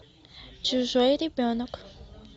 чужой ребенок